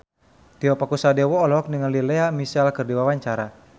Tio Pakusadewo olohok ningali Lea Michele keur diwawancara